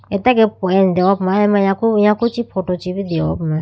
atage peh ne deya puma ayama yaku yaku chi photo deho puma.